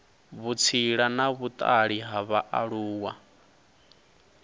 vhutsila na vhutali ha vhaaluwa